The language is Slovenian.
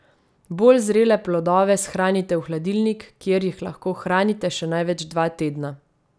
Bolj zrele plodove shranite v hladilnik, kjer jih lahko hranite še največ dva tedna.